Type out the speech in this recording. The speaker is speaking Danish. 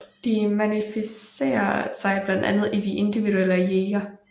Det manifesterer sig blandt andet i de individuelle jeger